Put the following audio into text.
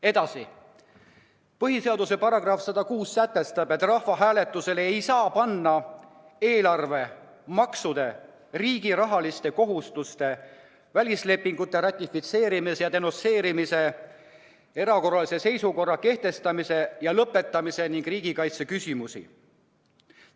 Edasi: põhiseaduse § 106 sätestab, et rahvahääletusele ei saa panna eelarve, maksude, riigi rahaliste kohustuste, välislepingute ratifitseerimise ja denonsseerimise, erakorralise seisukorra kehtestamise ja lõpetamise ning riigikaitse küsimusi.